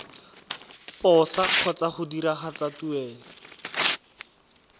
posa kgotsa go diragatsa tuelo